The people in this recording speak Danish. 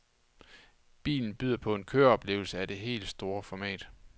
Bilen byder på en køreoplevelse af det helt store format.